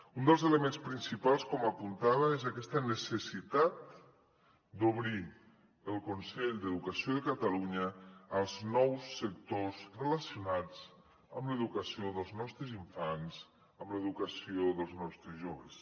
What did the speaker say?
un dels elements principals com apuntava és aquesta necessitat d’obrir el consell d’educació de catalunya als nous sectors relacionats amb l’educació dels nostres infants amb l’educació dels nostres joves